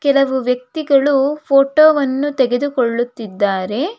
ಕೆಲವು ವ್ಯಕ್ತಿಗಳು ಫೋಟೋ ವನ್ನು ತೆಗೆದು ಕೊಳ್ಳುತ್ತಿದ್ದಾರೆ.